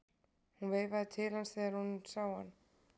Hún veifaði til hans þegar hún sá hann.